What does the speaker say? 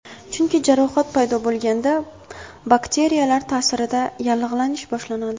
Chunki, jarohat paydo bo‘lganda, bakteriyalar ta’sirida yallig‘lanish boshlanadi.